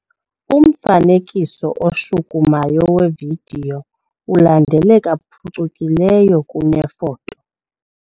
Umfanekiso oshukumayo wevidiyo ulandeleka phucukileyo kunefoto.